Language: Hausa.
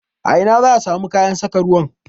A ina zaa samu kayan saka ruwan?